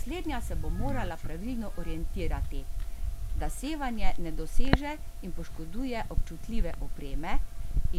Slednja se bo morala pravilno orientirati, da sevanje ne doseže in poškoduje občutljive opreme,